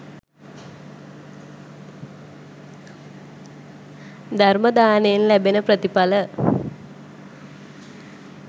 ධර්ම දානයෙන් ලැබෙන ප්‍රථිඵල